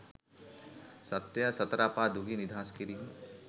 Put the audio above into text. සත්වයා සතර අපා දුකින් නිදහස් කිරීම